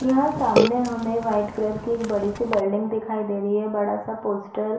यहाँ सामने हमें एक व्हाइट कलर की एक बड़ी -सी बिल्डिंग दिखाई दे रही है बड़ा -सा पोस्टर --